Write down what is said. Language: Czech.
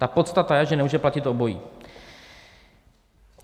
Ta podstata je, že nemůže platit obojí.